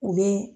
U bɛ